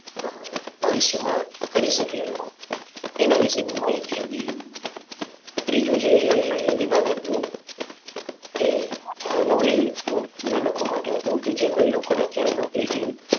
ભવિષ્ય માં કરી શકે એ લોકો એના વિશે ની માહિતી હતી. ત્રીજું જે વિભાગ હતું તે અ નોકરીનાં લોકો માટે હતું કે જે કોઈ લોકો ને અત્યારે નોકરીની